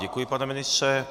Děkuji, pane ministře.